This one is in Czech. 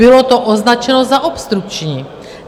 Bylo to označeno za obstrukční.